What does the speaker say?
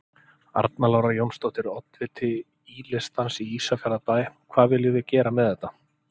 Arna Lára Jónsdóttir, oddviti Í-listans í Ísafjarðarbæ: Hvað viljum við gera með þetta?